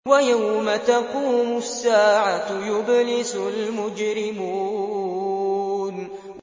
وَيَوْمَ تَقُومُ السَّاعَةُ يُبْلِسُ الْمُجْرِمُونَ